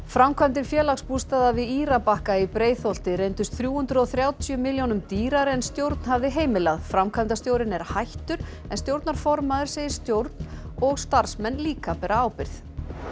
framkvæmdir Félagsbústaða við Írabakka í Breiðholti reyndust þrjú hundruð og þrjátíu milljónum dýrari en stjórn hafði heimilað framkvæmdastjórinn er hættur en stjórnarformaður segir stjórn og starfsmenn líka bera ábyrgð